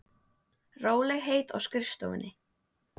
Rólegheit á skrifstofunni.